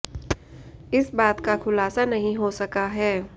इस बात का खुलासा नहीं हो सका है